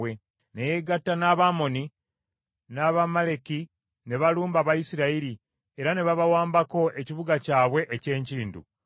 Ne yegatta n’Abamoni n’Abamaleki ne balumba Abayisirayiri era ne babawambako ekibuga kyabwe eky’enkindu.